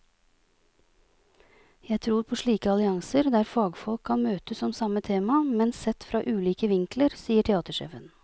Jeg tror på slike allianser, der fagfolk kan møtes om samme tema, men sett fra ulike vinkler, sier teatersjefen.